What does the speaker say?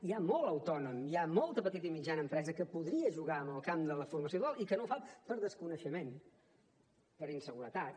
hi ha molt autònom hi ha molta petita i mitjana empresa que podria jugar en el camp de la formació dual i que no ho fa per desconeixement per inseguretats